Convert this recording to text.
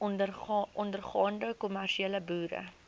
ondergaande kommersiële boere